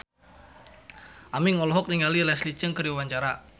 Aming olohok ningali Leslie Cheung keur diwawancara